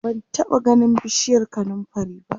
ban taɓa ganin bishiyar kanumfari ba